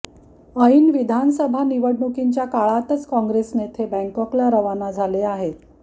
ऐन विधानसभा निवडणुकांच्या काळातच काँगेस नेते बँकॉकला रवाना झाले आहेत